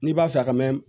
N'i b'a fɛ a ka mɛ